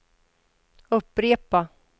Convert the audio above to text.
upprepa